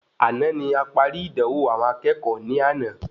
Àna ní aparí ìdánwò àwọn akẹ́kọ̀ọ́ ní àna